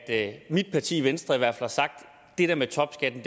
at mit parti venstre har sagt det der med topskatten